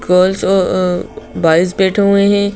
Girls अअ -आ boys बैठे हुए हैं।